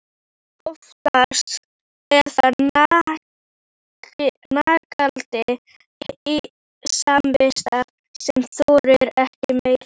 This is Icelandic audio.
En oftast er það nagandi samviskan sem þolir ekki meir.